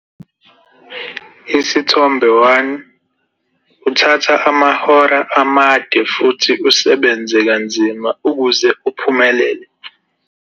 Isithombe 1- Uthatha amahora amade futhi usebenze kanzima ukuze uphumelele.